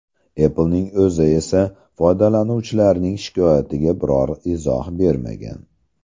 Apple’ning o‘zi esa foydalanuvchilarning shikoyatiga biror izoh bermagan.